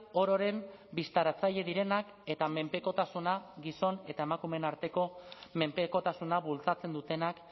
ororen bistaratzaile direnak eta menpekotasuna gizon eta emakumeen arteko menpekotasuna bultzatzen dutenak